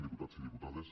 diputats i diputades